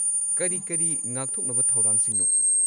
ꯀꯔꯤ ꯀꯔꯤ ꯉꯥꯛꯊꯣꯛꯅꯕ ꯊꯧꯔꯥꯡꯁꯤꯡꯅꯣ?